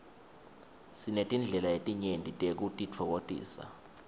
sinetindlela letinyenti tekutitfokotisa